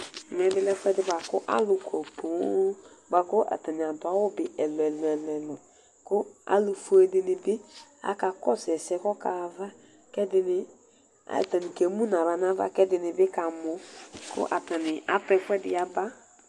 Ɛmɛbi lɛ ɛfʋɛdi bʋakʋ alʋkɔ poo, bʋakʋ atani adʋ awʋ bi ɛlʋ ɛlʋ ɛlʋ Kʋ alʋfue dini bi kakɔsʋ ɛsɛ kʋ ɔkaxa ayava, kʋ ɛdini atani kemʋnʋ aɣla nʋ ava, kʋ ɛdini bi kamɔ kʋ atani atʋ ɛfʋɛdi yaba